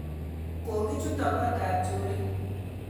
Kokichuto kotab chorik